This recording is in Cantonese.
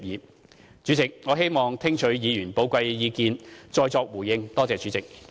代理主席，我希望聽取議員的寶貴意見，再作回應。